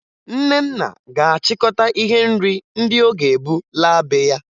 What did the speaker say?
Nnenna ga-achịkọta ihe nri ndị ọ ga-ebu laa be ya